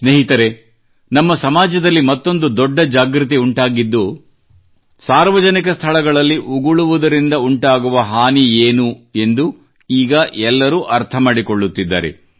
ಸ್ನೇಹಿತರೇ ನಮ್ಮ ಸಮಾಜದಲ್ಲಿ ಮತ್ತೊಂದು ದೊಡ್ಡ ಜಾಗೃತಿ ಉಂಟಾಗಿದ್ದು ಸಾರ್ವಜನಿಕ ಸ್ಥಳಗಳಲ್ಲಿ ಉಗುಳುವುದರಿಂದ ಉಂಟಾಗುವ ಹಾನಿ ಏನು ಎಂದು ಈಗ ಎಲ್ಲರೂ ಅರ್ಥಮಾಡಿಕೊಳ್ಳುತ್ತಿದ್ದಾರೆ